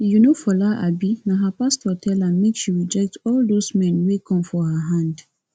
you know fola abi na her pastor tell am make she reject all doz men wey come for her hand